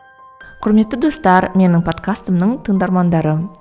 құрметті достар менің подкастымның тыңдармандары